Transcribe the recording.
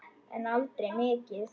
En aldrei mikið.